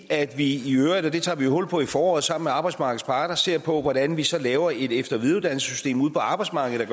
at vi i øvrigt og det tager vi hul på i foråret sammen med arbejdsmarkedets parter ser på hvordan vi så laver et efter og videreuddannelsessystem ude på arbejdsmarkedet